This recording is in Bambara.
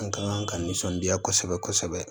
An ka kan ka nisɔndiya kosɛbɛ kosɛbɛ